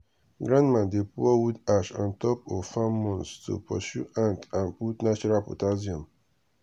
grandma dey pour wood ash on top of farm mounds to pursue ant and put natural potassium.